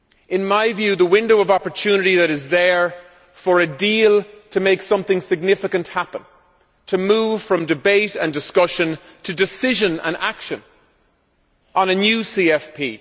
In my view, the window of opportunity is there for a deal to make something significant happen and to move from debate and discussion to decision and action on a new CFP.